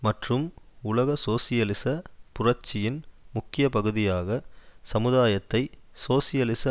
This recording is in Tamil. மற்றும் உலக சோசியலிச புரட்சியின் முக்கிய பகுதியாக சமுதாயத்தை சோசியலிச